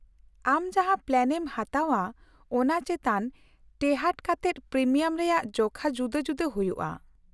-ᱟᱢ ᱡᱟᱦᱟᱸ ᱯᱞᱟᱱᱮᱢ ᱦᱟᱛᱟᱣᱼᱟ ᱚᱱᱟ ᱪᱮᱛᱟᱱ ᱴᱮᱦᱟᱰ ᱠᱟᱛᱮᱫ ᱯᱨᱤᱢᱤᱭᱟᱢ ᱨᱮᱭᱟᱜ ᱡᱚᱠᱷᱟ ᱡᱩᱫᱟᱹ ᱡᱩᱫᱟᱹ ᱦᱩᱭᱩᱜᱼᱟ ᱾